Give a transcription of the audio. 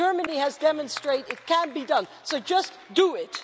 Germany has demonstrated it can be done, so just do it.